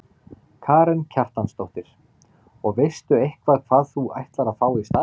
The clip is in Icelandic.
Karen Kjartansdóttir: Og veistu eitthvað hvað þú ætlar að fá í staðinn?